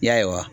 Ya